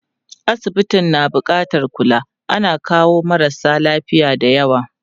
Asibitin na buƙatar kula, ana kawo marasa lafiya dayawa.